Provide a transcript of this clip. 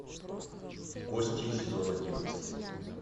кости сезон одиннадцать